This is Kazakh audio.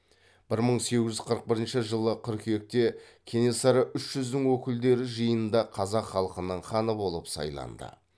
бір мың сегіз жүз қырық бірінші жылы қыркүйекте кенесары үш жүздің өкілдері жиынында қазақ халқының ханы болып сайланды